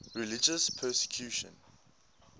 religious persecution